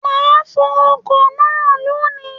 Mà á fọ ọkọ náà lónì.